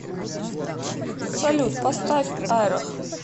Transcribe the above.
салют поставь айрох